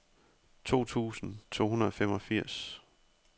to tusind to hundrede og femogfirs